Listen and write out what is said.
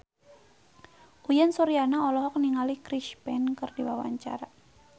Uyan Suryana olohok ningali Chris Pane keur diwawancara